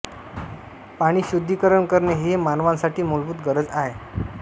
पाणी शुद्धीकरण करणे हे मानवासाठी मुलभूत गरज आहे